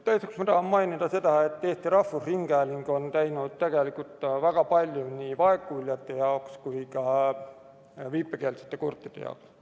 Teiseks, ma tahan mainida, et Eesti Rahvusringhääling on tegelikult teinud väga palju nii vaegkuuljate kui ka viipekeelsete kurtide jaoks.